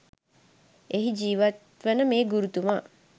එහි ජීවත්වන මේ ගුරුතුමා